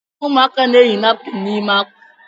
Ụmụaka na-eyi napkin n’ime akwa